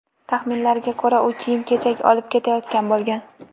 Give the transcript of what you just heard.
Taxminlarga ko‘ra, u kiyim-kechak olib ketayotgan bo‘lgan.